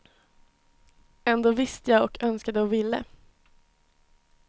Ändå visste jag, och önskade och ville.